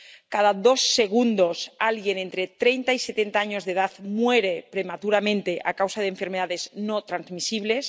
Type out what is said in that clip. Cada dos segundos alguien entre treinta y setenta años de edad muere prematuramente a causa de enfermedades no transmisibles.